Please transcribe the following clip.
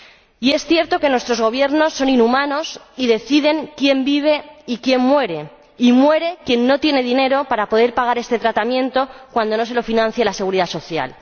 Y es cierto que nuestros Gobiernos son inhumanos y deciden quién vive y quién muere, y muere quien no tiene dinero para poder pagar este tratamiento cuando no se lo financia la Seguridad Social.